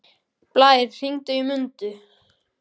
Blær, hringdu í Mundu.